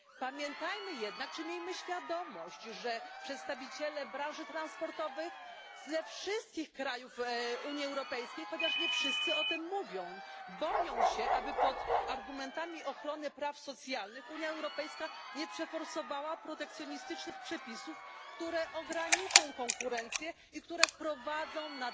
Pamiętajmy jednak czy miejmy świadomość że przedstawiciele branży transportowych ze wszystkich krajów Unii Europejskiej chociaż nie wszyscy o tym mówią boją się, aby, posługując się argumentami ochrony praw socjalnych, Unia Europejska nie przeforsowała protekcjonistycznych przepisów, które ograniczą konkurencję i które wprowadzą nadmierną biurokrację.